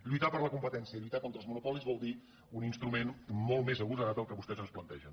lluitar per la competència lluitar contra els monopolis vol dir un instrument molt més agosarat que el que vos·tès ens plantegen